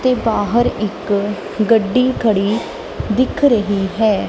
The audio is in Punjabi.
ਤੇ ਬਾਹਰ ਇੱਕ ਗੱਡੀ ਖੜੀ ਦਿਖ ਰਹੀ ਹੈ।